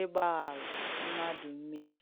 ìgbàghàrù mmadù m̀mèhiè?